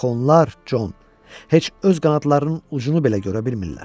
Axı onlar, Jon, heç öz qanadlarının ucunu belə görə bilmirlər.